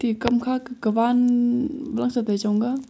kam kha te kaman mosi sechong ngan tega.